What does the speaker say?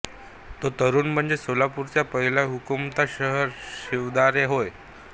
तो तरुण म्हणजेच सोलापुरचा पहिला हुतात्मा शंकर शिवदारे होय